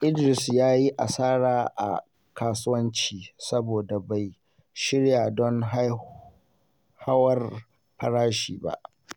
Idris ya yi asara a kasuwanci saboda bai shirya don hauhawar farashi ba.